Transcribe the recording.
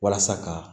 Walasa ka